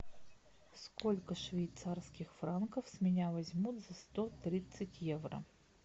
сколько швейцарских франков с меня возьмут за сто тридцать евро